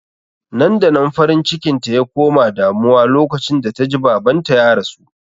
Nan-da-nan farin cikinta ya koma damuwa lokacin da ta ji babanta ya rasu